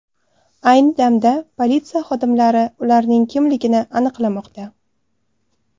Ayni damda politsiya xodimlari ularning kimligini aniqlamoqda.